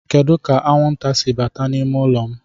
Kedu ka anwụnta si bata n'ime ụlọ m?